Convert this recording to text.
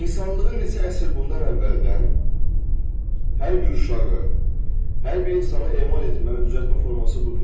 İnsanlığı neçə əsr bundan əvvəldən hər bir uşağı, hər bir insanı emal etməli, düzəltmə forması budur.